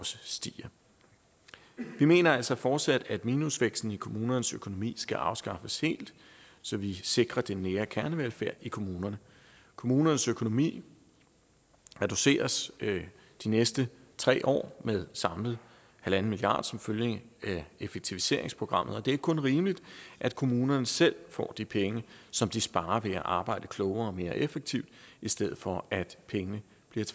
stiger vi mener altså fortsat at minusvæksten i kommunernes økonomi skal afskaffes helt så vi sikrer den nære kernevelfærd i kommunerne kommunernes økonomi reduceres de næste tre år med samlet en milliard kroner som følge af effektiviseringsprogrammet det er kun rimeligt at kommunerne selv får de penge som de sparer ved at arbejde klogere og mere effektivt i stedet for at pengene bliver